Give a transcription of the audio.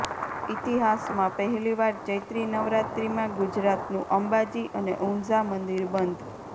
ઈતિહાસમાં પહેલીવાર ચૈત્રિ નવરાત્રિમાં ગુજરાતનું અંબાજી અને ઉંઝા મંદિર બંધ